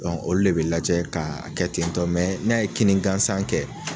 Olu de bi lajɛ ka kɛ tentɔ n'a ye kinni gansan kɛ